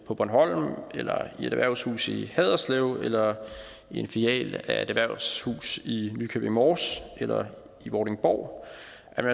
på bornholm eller i et erhvervshus i haderslev eller i en filial af et erhvervshus i nykøbing mors eller i vordingborg